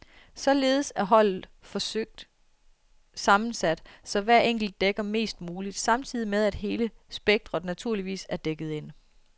Således er holdet forsøgt sammensat, så hver enkelt dækker mest muligt, samtidig med at hele spektret naturligvis er dækket ind.